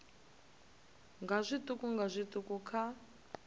nga zwiṱuku nga zwiṱuku kha